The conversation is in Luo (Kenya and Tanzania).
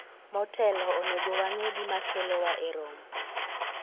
motelo, onego wang'e gima kelowa e romo